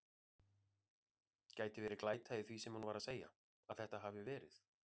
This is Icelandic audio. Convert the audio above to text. Gæti verið glæta í því sem hún er að segja. að þetta hafi verið.